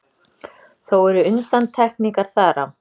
Þó eru undantekningar þar á.